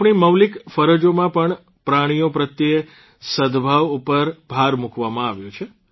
આપણી મૌલિક ફરજોમાં પણ પ્રાણીઓ પ્રત્યે સદભાવ ઉપર ભાર મૂકવામાં આવ્યો છે